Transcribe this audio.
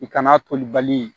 I kana toli bali